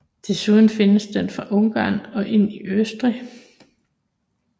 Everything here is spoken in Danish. Desuden findes den fra Ungarn og ind i Østrig